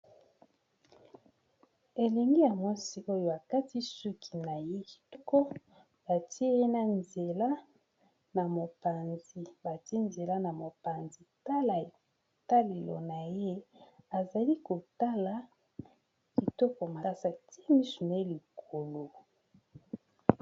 Elengi ya mwasi oyo akati suki na ye kitoko batie ye na nzela na mopanzi bâtie nzela mopanzi tala etalelo na ye azali kotala kitoko makasa atie misu naye likolo.